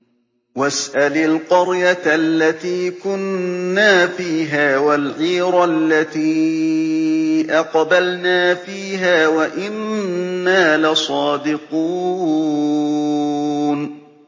وَاسْأَلِ الْقَرْيَةَ الَّتِي كُنَّا فِيهَا وَالْعِيرَ الَّتِي أَقْبَلْنَا فِيهَا ۖ وَإِنَّا لَصَادِقُونَ